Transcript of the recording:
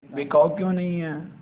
बिकाऊ क्यों नहीं है